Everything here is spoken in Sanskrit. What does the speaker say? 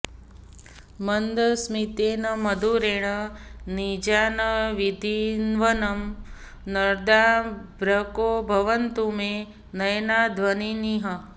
मन्दस्मितेन मधुरेण निजान् विधिन्वन् नन्दार्भको भवतु मे नयनाध्वनीनः